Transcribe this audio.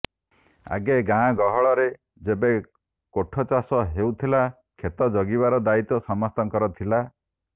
ଆଗେ ଗାଁ ଗହଳରେ ଯେବେ କୋଠ ଚାଷ ହଉଥିଲା କ୍ଷେତ ଜଗିବାର ଦାୟିତ୍ୱ ସମସ୍ତଙ୍କର ଥିଲା